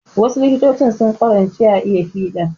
Wasu likitoci sun ƙwarance a iya fiɗa